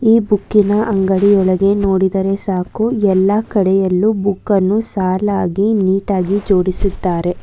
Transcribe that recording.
ಈ ಬುಕ್ಕಿನ ಅಂಗಡಿ ಒಳಗೆ ನೋಡಿದರೆ ಸಾಕು ಎಲ್ಲಾ ಕಡೆಯಲ್ಲು ಬುಕ್ಕನ್ನು ಸಾಲಾಗಿ ನೀಟಾಗಿ ಜೋಡಿಸಿದ್ದಾರೆ